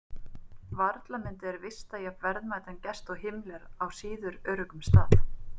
Varla myndu þeir vista jafn verðmætan gest og Himmler á síður öruggum stað.